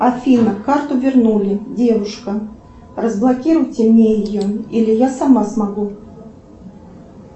афина карту вернули девушка разблокируйте мне ее или я сама смогу